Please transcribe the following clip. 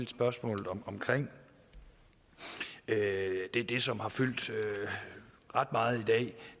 spørgsmålet om det som har fyldt ret meget i dag